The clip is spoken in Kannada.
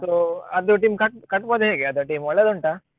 So ಅದು team ಕಟ್ಟ್~ ಕಟ್ಬೋದಾ ಹೇಗೆ ಅದು team ಒಳ್ಳೆದುಂಟಾ?